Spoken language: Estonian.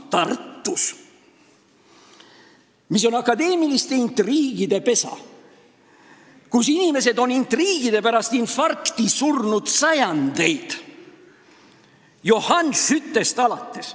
Tartu on akadeemiliste intriigide pesa, kus inimesed on sajandeid intriigide pärast infarkti surnud juba Johan Skyttest alates.